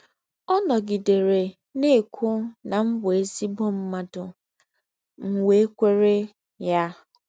Ọ̀ nògídèrè nà-ékwụ́ nà m bụ́ èzí̄gbọ̀ mmádụ̀, m wẹ́ kwèrè yá.